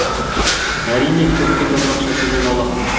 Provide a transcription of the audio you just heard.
әрине көпке топырақ шашудан аулақпын